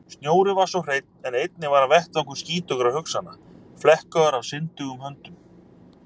Snjórinn var svo hreinn en einnig hann var vettvangur skítugra hugsana, flekkaður af syndugum höndum.